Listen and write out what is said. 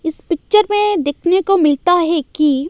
इस पिक्चर में देखने को मिलता है कि--